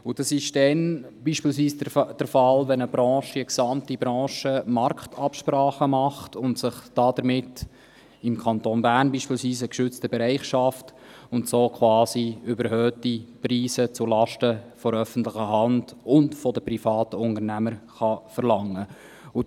Dies ist beispielsweise dann der Fall, wenn eine gesamte Branche Marktabsprachen trifft, sich damit – im Kanton Bern beispielsweise – einen geschützten Bereich schafft und so quasi überhöhte Preise zulasten der öffentlichen Hand und der privaten Unternehmer verlangen kann.